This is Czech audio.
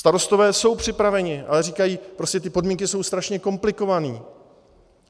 Starostové jsou připraveni, ale říkají: prostě ty podmínky jsou strašně komplikované.